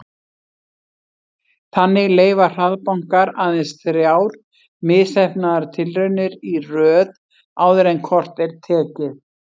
Þannig leyfa hraðbankar aðeins þrjár misheppnaðar tilraunir í röð áður en kort er tekið.